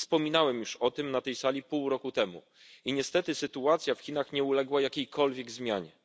Wspominałem już o tym na tej sali pół roku temu i niestety sytuacja w Chinach nie uległa jakiejkolwiek zmianie.